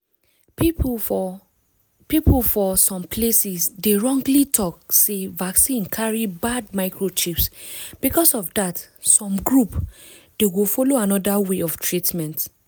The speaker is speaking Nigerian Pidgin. people for people for some places dey wrongly talk sey vaccine carrybad microchips because of that some group.dey go follow another way of treatment.